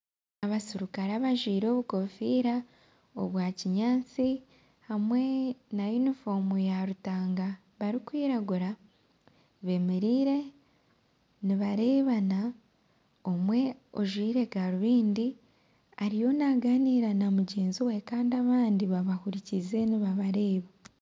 Abaserikare abajwire obukofiira obwa kinyaatsi hamwe na yunifomu ya rutanga barikwiragura bemereire nibarebana. Omwe ojwire garuvindi ariyo naganiira namugyenzi we kandi abandi babahurikiize nibabareeba